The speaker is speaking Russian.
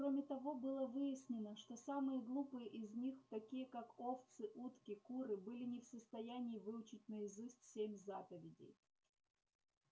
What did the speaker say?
кроме того было выяснено что самые глупые из них такие как овцы утки куры были не в состоянии выучить наизусть семь заповедей